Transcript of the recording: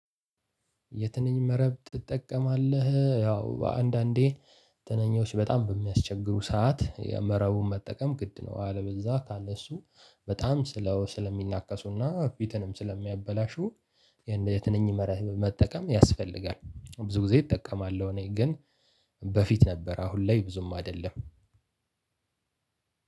የትንኝ መረብ ትጠቀማለህ? ያው አንዳንዴ ትንኞች በጣም በሚያስቸግሩ ሰዓት መረቡን መጠቀም ግድ ነው። አለበለዛ ካለ እሱ በጣም ስለው ስለሚናከሱና ፊትንም ስለሚያበላሹ። የትንኝ መረብ መጠቀም ያስፈልጋል ብዙ ጊዜ እጠቀማለሁ። እኔ ግን በፊት ነበር አሁን ላይ ብዙም አይደለም።